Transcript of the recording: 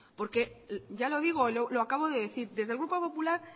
porque ya lo digo y lo acabo de decir desde el grupo popular